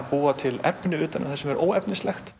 búa til efni utan um það sem er óefnislegt